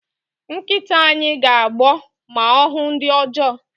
Nkịta anyị ga-agbọ ma ọ hụ ndị ọjọọ